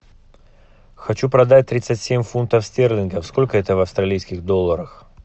хочу продать тридцать семь фунтов стерлингов сколько это в австралийских долларах